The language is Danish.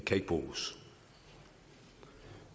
kan bruges